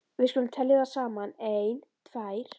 Við skulum telja þær saman: Ein. tvær.